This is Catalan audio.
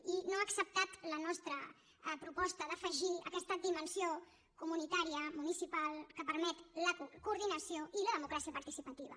i no ha acceptat la nostra proposta d’afegir aquesta dimensió comunitària municipal que permet la coordinació i la democràcia participativa